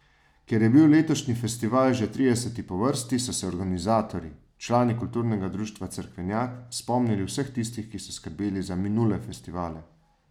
Ker je bil letošnji festival že trideseti po vrsti, so se organizatorji, člani Kulturnega društva Cerkvenjak, spomnili vseh tistih, ki so skrbeli za minule festivale.